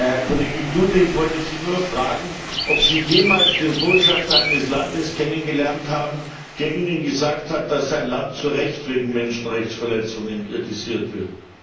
Herr Kollege Klute, ich wollte Sie nur fragen, ob Sie schon jemals einen Botschafter eines Landes kennengelernt haben, der Ihnen gesagt hat, dass sein Land zu Recht wegen Menschenrechtsverletzungen kritisiert wird?